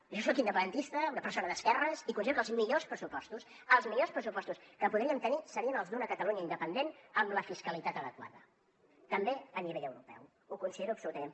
jo soc independentista una persona d’esquerres i considero que els millors pressupostos els millors pressupostos que podríem tenir serien els d’una catalunya independent amb la fiscalitat adequada també a nivell europeu ho considero absolutament